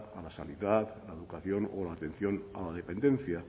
a la sanidad la educación o la atención a la dependencia